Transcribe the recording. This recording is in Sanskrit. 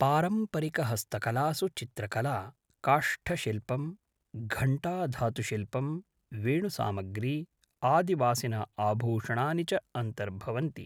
पारम्परिकहस्तकलासु चित्रकला, काष्ठशिल्पं, घण्टाधातुशिल्पं, वेणुसामग्री, आदिवासिनः आभूषणानि च अन्तर्भवन्ति।